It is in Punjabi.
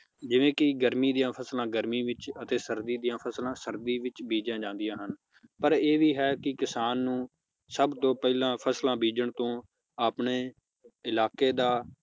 ਜਿਵੇ ਕਿ ਗਰਮੀ ਦੀਆਂ ਫਸਲਾਂ ਗਰਮੀ ਵਿਚ ਅਤੇ ਸਰਦੀ ਦੀਆਂ ਫਸਲਾਂ ਸਰਦੀ ਵਿਚ ਬੀਜੀਆਂ ਜਾਂਦੀਆਂ ਹਨ ਪਰ ਇਹ ਵੀ ਹੈ ਕਿ ਕਿਸਾਨ ਨੂੰ ਸਬ ਤੋਂ ਪਹਿਲਾਂ ਫਸਲਾਂ ਬੀਜਣ ਤੋਂ ਆਪਣੇ ਇਲਾਕੇ ਦਾ